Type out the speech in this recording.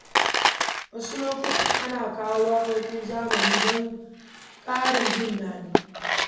Wasu lokuta ana kawo waƙoƙin zamani don ƙarin jin daɗi.